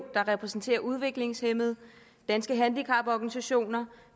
der repræsenterer udviklingshæmmede danske handicaporganisationer